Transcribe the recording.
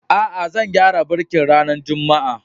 Aa, zan gyara birkin ranan Juma'a.